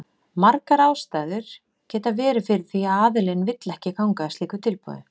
Margar ástæður geta verið fyrir því að aðilinn vill ekki ganga að slíku tilboði.